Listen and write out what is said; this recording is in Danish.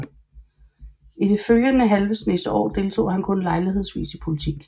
I den følgende halve snes år deltog han kun lejlighedsvis i politik